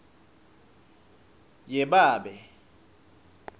yebabe